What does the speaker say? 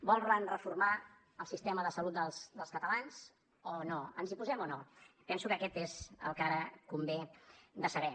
volen reformar el sistema de salut dels catalans o no ens hi posem o no penso que això és el que ara convé de saber